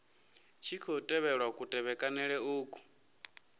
tshi khou tevhelwa kutevhekanele uku